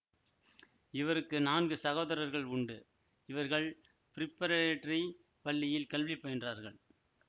இவருக்கு நான்கு சகோதர்கள் உண்டு இவர்கள் ப்ரிபரேடரி பள்ளியில் கல்வி பயின்றார்கள்